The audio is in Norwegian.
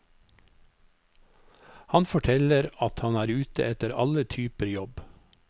Han forteller at han er ute etter alle typer jobb.